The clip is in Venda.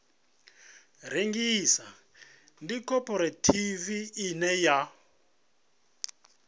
rengisa ndi khophorethivi ine ya